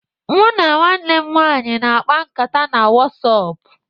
Mụ na nwanne m nwaanyị na-akpa nkata na Wọsapp